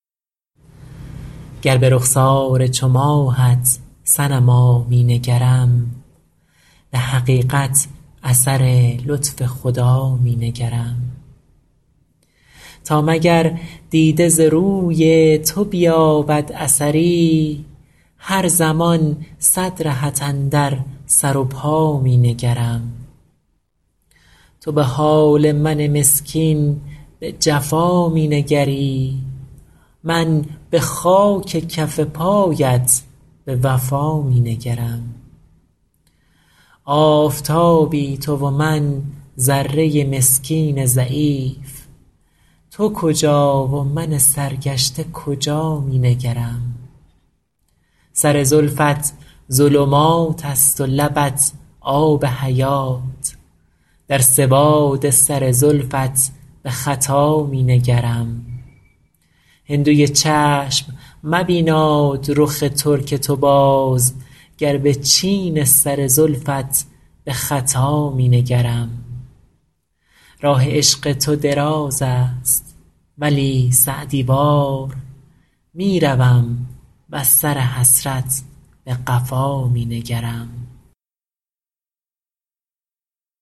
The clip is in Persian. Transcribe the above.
گر به رخسار چو ماهت صنما می نگرم به حقیقت اثر لطف خدا می نگرم تا مگر دیده ز روی تو بیابد اثری هر زمان صد رهت اندر سر و پا می نگرم تو به حال من مسکین به جفا می نگری من به خاک کف پایت به وفا می نگرم آفتابی تو و من ذره مسکین ضعیف تو کجا و من سرگشته کجا می نگرم سر زلفت ظلمات است و لبت آب حیات در سواد سر زلفت به خطا می نگرم هندوی چشم مبیناد رخ ترک تو باز گر به چین سر زلفت به خطا می نگرم راه عشق تو دراز است ولی سعدی وار می روم وز سر حسرت به قفا می نگرم